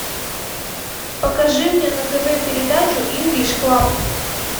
покажи мне на тв передачу инглиш клаб